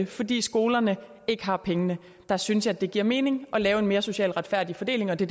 fordi skolerne ikke har pengene der synes jeg det giver mening at lave en mere socialt retfærdig fordeling og det